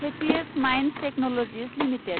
happiest minds technologies limited